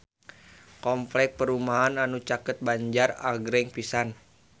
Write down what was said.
Kompleks perumahan anu caket Banjar agreng pisan